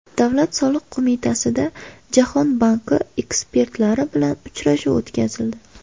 Davlat soliq qo‘mitasida Jahon banki ekspertlari bilan uchrashuv o‘tkazildi.